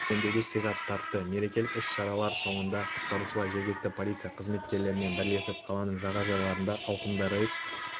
серуендеуді сыйға тартты мерекелік іс-шаралар соңында құтқарушылар жергілікті полиция қызметкерлерімен бірлесіп қаланың жағажайларында ауқымды рейд